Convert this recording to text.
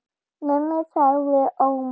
Mummi sagði ormar.